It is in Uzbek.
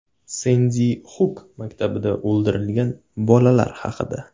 Sendi Xuk maktabida o‘ldirilgan bolalar haqida.